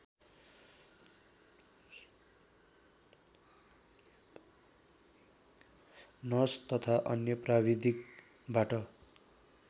nurse तथा अन्य प्राविधिकबाट